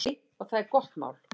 Nei, og það er gott mál.